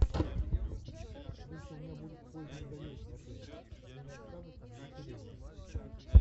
если у меня будет поздний заезд в отель мне не откажут в заселении